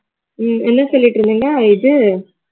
ஹம் என்ன சொல்லிட்டிருந்தீங்க இது